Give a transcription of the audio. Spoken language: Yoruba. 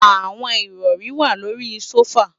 Àwọn ìrọ̀ri wà lórí i sófà